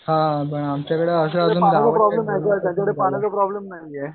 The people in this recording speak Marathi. हा पण आमच्याकडे अशा अजून